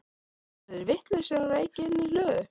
Eru þeir vitlausir að reykja inni í hlöðu?